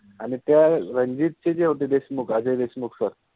आणि त्या रणजित चे जे होते देश्मुख अजय देशमुख SIR